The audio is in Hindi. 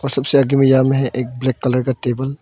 और सबसे आगे में यहाँ में है एक ब्लैक कलर का टेबल ।